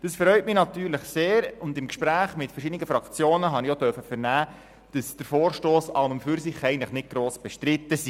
Das freut mich natürlich sehr, und im Gespräch mit verschiedenen Fraktionen durfte ich auch vernehmen, dass der Vorstoss an und für sich eigentlich nicht gross bestritten ist.